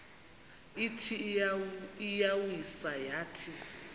ithi iyawisa yathi